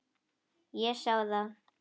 Ég sá það.